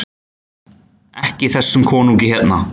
EKKI ÞESSUM KONUNGI HÉRNA!